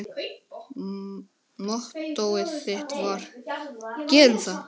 Mottóið þitt var: Gerum þetta!